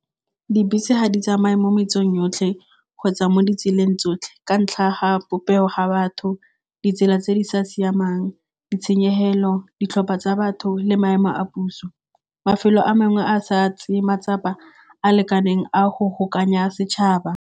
Dibese ga di tsamaye mo metseng yotlhe kgotsa mo ditseleng tsotlhe ka ntlha ya ga popego ga batho, ditsela tse di sa siamang, ditshenyegelo, ditlhopha tsa batho le maemo a puso. Mafelo a mangwe a sa tseye matsapa a lekaneng a go setšhaba.